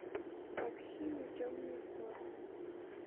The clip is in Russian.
такси на темную сторону